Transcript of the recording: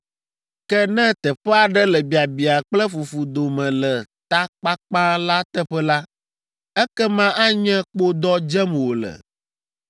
Ke ne teƒe aɖe le biabiã kple fufu dome le ta kpakpã la teƒe la, ekema anye kpodɔ dzem wòle.